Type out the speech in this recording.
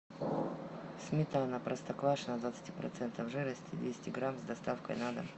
сметана простоквашино двадцати процентов жирности двести грамм с доставкой на дом